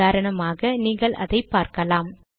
உதாரணமாக நீங்கள் அதை பார்க்கலாம்